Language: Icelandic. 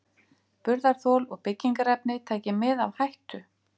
Burðarþol og byggingarefni taki mið af hættu.